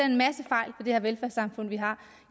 en masse fejl ved det velfærdssamfund vi har